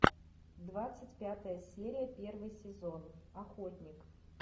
двадцать пятая серия первый сезон охотник